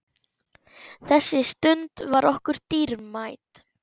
Þessi stund var okkur dýrmæt.